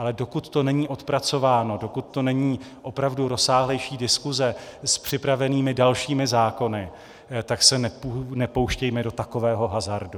Ale dokud to není odpracováno, dokud to není opravdu rozsáhlejší diskuse s připravenými dalšími zákony, tak se nepouštějme do takového hazardu.